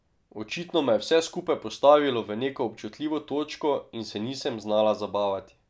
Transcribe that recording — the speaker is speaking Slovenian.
Očitno me je vse skupaj postavilo v neko občutljivo točko in se nisem znala zabavati.